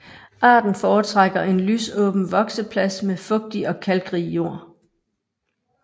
Arten foretrækker en lysåben vokseplads med fugtig og kalkrig jord